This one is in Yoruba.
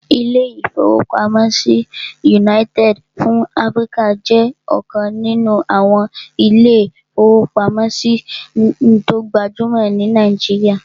Ilé-ìfowópamọ́sí United fún Áfríkà jẹ́ ọ̀kan nínú àwọn ilé-ìfowópamọ́sí tó gbajúmọ̀ ní Nàìjíríyà